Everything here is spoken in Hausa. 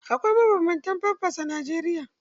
Akwai mabanbanta famfas a Najeriya.